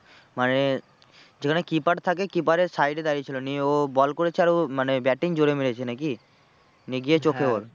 মানে যেখানে keeper থাকে keeper এর side এ দাঁড়িয়ে ছিল নিয়ে ও বল করেছে ও মানে batting জোরে মেরেছে নাকি? মানে গিয়ে চোখে ওর